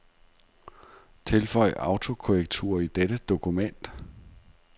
Tilføj autokorrektur i dette dokument.